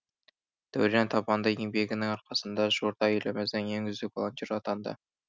дәурен табанды еңбегінің арқасында жуырда еліміздің ең үздік волонтер атанды